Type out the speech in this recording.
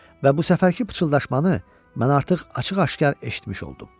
Və bu səfərki pıçıldaşmanı mən artıq açıq-aşkar eşitmiş oldum.